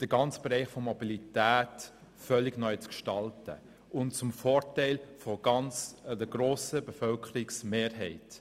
den gesamten Bereich der Mobilität völlig neu zu gestalten und zwar zum Vorteil der grossen Bevölkerungsmehrheit.